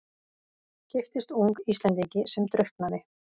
Giftist ung Íslendingi sem drukknaði.